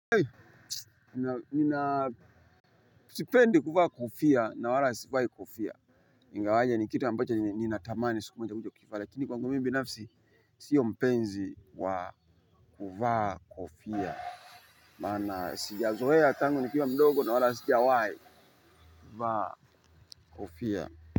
Nina sipendi kuvaa kofia na wala sivai kofia. Ingawaje ni kitu ambacho ninatamani siku moja mtu akivae lakini kwangu mimi binafsi sio mpenzi wa kuvaa kofia. Maana sijazoea tangu nikiwa mdogo na wala sijawahi vaa kofia.